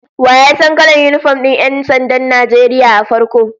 Wa ya san kalan yinifom din 'yan sandan Najeriya a farko?